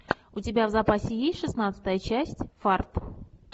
у тебя в запасе есть шестнадцатая часть фарт